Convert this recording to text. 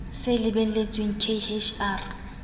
se lebelletsweng k h r